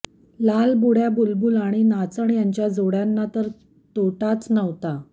लालबुडय़ा बुलबुल आणि नाचण यांच्या जोडय़ांना तर तोटाच नव्हता